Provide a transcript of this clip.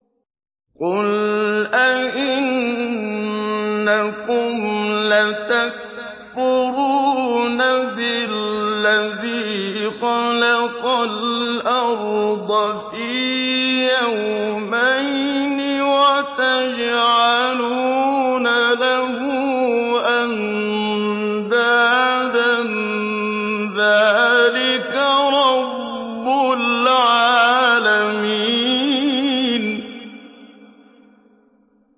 ۞ قُلْ أَئِنَّكُمْ لَتَكْفُرُونَ بِالَّذِي خَلَقَ الْأَرْضَ فِي يَوْمَيْنِ وَتَجْعَلُونَ لَهُ أَندَادًا ۚ ذَٰلِكَ رَبُّ الْعَالَمِينَ